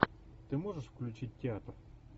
ты можешь включить театр